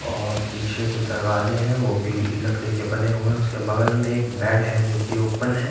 और पीछे जो दरवाजे हैं वो भी लकड़ी के बने हुए हैं उसके बगल में एक बेड है जोकि ओपन है।